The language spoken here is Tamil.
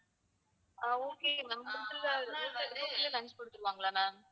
ஆஹ் okay ma'am hotel ல hotel, hotel ல lunch கொடுத்துருவாங்களா ma'am